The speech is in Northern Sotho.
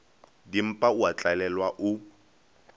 dimpa o a tlalelwa o